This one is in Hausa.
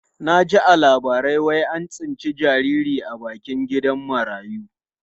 Na ji a labarai wai an tsinci jariri a bakin gidan marayu.